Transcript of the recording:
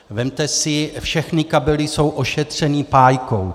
Vezměte si, všechny kabely jsou ošetřeny pájkou.